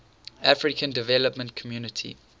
african development community